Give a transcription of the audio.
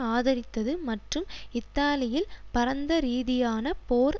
ஆதரித்தது மற்றும் இத்தாலியில் பரந்தரீதியான போர்